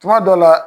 Tuma dɔ la